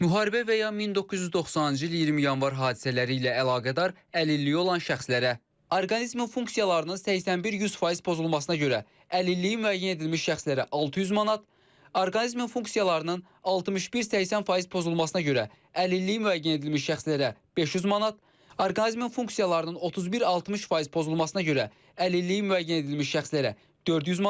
Müharibə və ya 1990-cı il 20 Yanvar hadisələri ilə əlaqədar əlilliyi olan şəxslərə orqanizmin funksiyalarının 81-100% pozulmasına görə əlilliyi müəyyən edilmiş şəxslərə 600 manat, orqanizmin funksiyalarının 61-80% pozulmasına görə əlilliyi müəyyən edilmiş şəxslərə 500 manat, orqanizmin funksiyalarının 31-60% pozulmasına görə əlilliyi müəyyən edilmiş şəxslərə 400 manat.